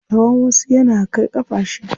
Tsawan wasu yana kai ƙafa shida.